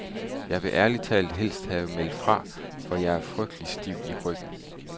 Jeg ville ærlig talt helst have meldt fra, for jeg er frygtelig stiv i ryggen.